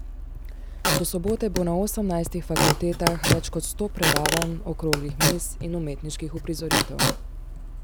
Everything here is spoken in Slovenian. Do sobote bo na osemnajstih fakultetah več kot sto predavanj, okroglih miz in umetniških uprizoritev.